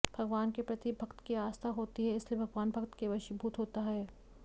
भगवान के प्रति भक्त की आस्था होती है इसलिए भगवान भक्त के वशीभूत होता है